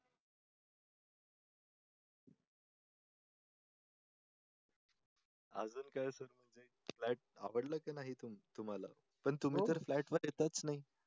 आजकाल sir flat आवडला की नाही तुम्हाला? पण तुम्ही तर फ्लॅटवर येतच नाही.